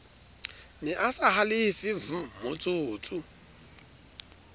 ne a sa halefe vmotsotso